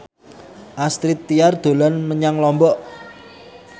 Astrid Tiar dolan menyang Lombok